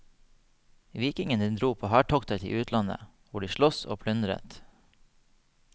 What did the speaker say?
Vikingene dro på hærtokter til utlandet, hvor de sloss og plyndret.